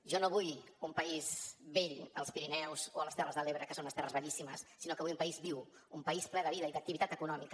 jo no vull un país vell als pirineus o a les terres de l’ebre que són unes terres bellíssimes sinó que vull un país viu un país ple de vida i d’activitat econòmica